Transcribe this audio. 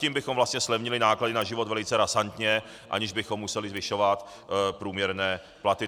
Tím bychom vlastně zlevnili náklady na život velice razantně, aniž bychom museli zvyšovat průměrné platy.